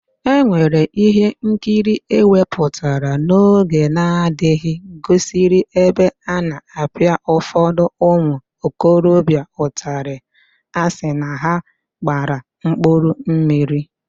Ewere ihe nkiri ewepụtara n'oge n'adịghị gosiri ebe a na-apịa ụfọdụ ụmụ okorobịa ụtalị asị na ha gbara 'mkpụrụmmiri'